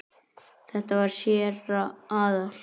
Þetta var séra Aðal